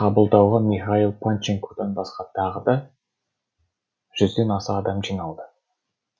қабылдауға михаил панченкодан басқа да тағы жүзден аса адам жиналды